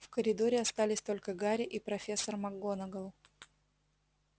в коридоре остались только гарри и профессор макгонагалл